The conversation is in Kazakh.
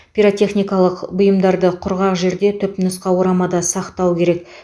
пиротехникалық бұйымдарды құрғақ жерде түпнұсқа орамада сақтау керек